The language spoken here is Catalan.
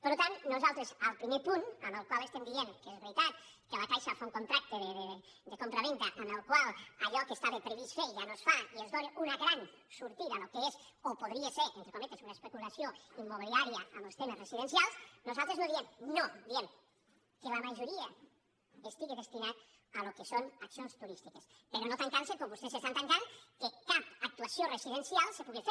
per tant nosaltres al primer punt en el qual estem dient que és veritat que la caixa fa un contracte de compravenda amb el qual allò que estava previst fer ja no es fa i es dóna una gran sortida al que és o podria ser entre cometes una especulació immobiliària amb els temes residencials nosaltres no diem no diem que la majoria estigui destinat al que són acci·ons turístiques però no tancant·se com vostès s’estan tancant que cap actuació residencial se puga fer